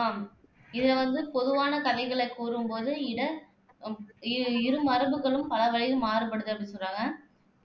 ஆஹ் இதை வந்து பொதுவான கதைகளைக் கூறும் போது கூட இரு மரபுகளும் பல வழிகளில் மாறுபடுது அப்படின்னு சொல்றாங்க